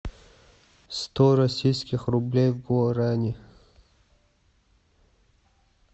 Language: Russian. сто российских рублей в гуарани